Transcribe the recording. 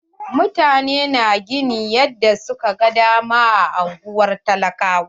Mutane na gini yanda su ka gan dama a unguwar talakawa.